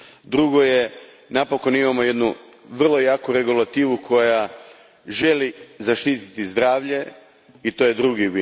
Drugo, napokon imamo jednu vrlo jaku regulativu koja želi zaštiti zdravlje i to je drugi